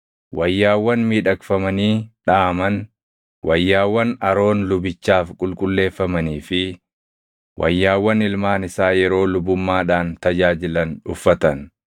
wayyaawwan miidhagfamanii dhaʼaman, wayyaawwan Aroon lubichaaf qulqulleeffamanii fi wayyaawwan ilmaan isaa yeroo lubummaadhaan tajaajilan uffatan,